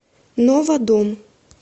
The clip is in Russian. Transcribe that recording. нова дом